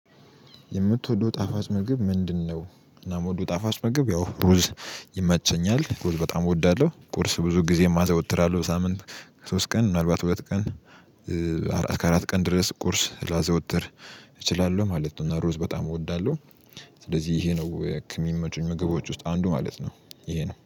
የምትወደው ጣፋጭ ምግብ ምንድነው? እናም ወደው ጣፋጭ ምግብ ያው ሩዝ ይመቸኛል ሩዝ በጣም እወዳለሁ ቁርስ ብዙ ጊዜ ማዘወትር አለው ሳምንት ሶስት ቀን ምናልባት ሁለት ቀን። አራት ከአራት ቀን ድረስ ቁርስ ላዘወትር እችላለሁ ማለት ነው። እና ሩዝ በጣም እወዳለሁ። ስለዚህ ይሄ ነው የሚመጡኝ ምግቦች ውስጥ አንዱ ማለት ነው ይሄ ነው